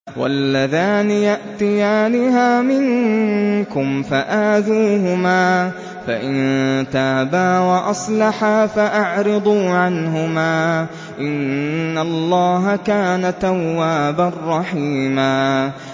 وَاللَّذَانِ يَأْتِيَانِهَا مِنكُمْ فَآذُوهُمَا ۖ فَإِن تَابَا وَأَصْلَحَا فَأَعْرِضُوا عَنْهُمَا ۗ إِنَّ اللَّهَ كَانَ تَوَّابًا رَّحِيمًا